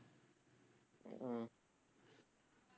உம்